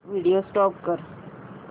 video stop कर